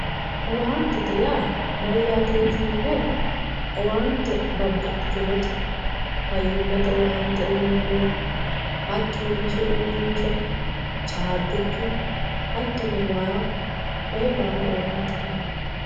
owaantete yaa mayyaate yotinoyhura owaante babbaxxitinote faymate owaante uynanniwa hattono rosu uurrinsha caabbichu hattono way koyee baala owaantete yinanni.